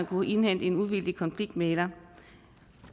kunne indhente en uvildig konfliktmægler